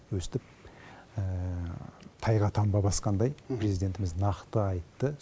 өстіп тайға таңба басқандай президентіміз нақты айтты